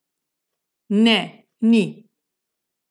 Ne, ni.